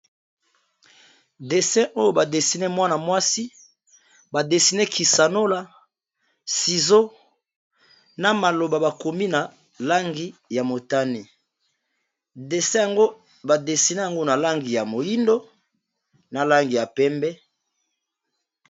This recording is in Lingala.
desin oyo badesine mwana mwasi badesine kisanola sizo na maloba bakomi na langi ya motane desine yango badesine yango na langi ya moindo na langi ya pembe